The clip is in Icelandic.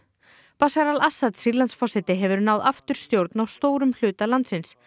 bashar al Assad hefur náð aftur stjórn á stórum hluta landsins